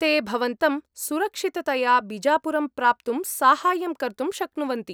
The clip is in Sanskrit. ते भवन्तं सुरक्षिततया बिजापुरं प्राप्तुं साहाय्यं कर्तुं शक्नुवन्ति।